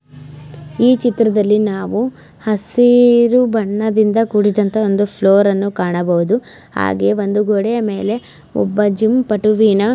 ಈ ಚಿತ್ರದಲ್ಲಿ ನಾವು ಹಸಿರು ಬಣ್ಣದಿಂದ ಕೂಡಿರುವಂತಹ ಒಂದು ಫ್ಲೋರ್ ಅನ್ನು ಕಾಣಬಹುದು ಹಾಗೆ ಒಂದು ಗೋಡೆಯ ಮೇಲೆ ಒಬ್ಬ ಜಿಮ್ ಪಟುವಿನ --